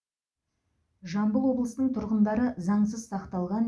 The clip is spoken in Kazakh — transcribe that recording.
жамбыл облысынның тұрғындары заңсыз сақталған